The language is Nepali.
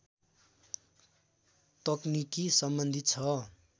तकनिकी सम्बन्धित छ